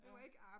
Ja